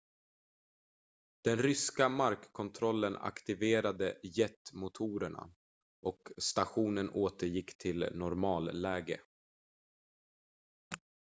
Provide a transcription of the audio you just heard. den ryska markkontrollen aktiverade jetmotorerna och och stationen återgick till normalläge